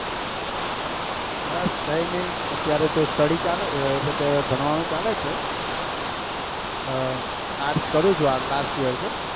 બસ કઈ નહિ અત્તોયારે study ચાલે એટલે કે ભણવા નું ચાલે છે arts કરું છું આ last year છે.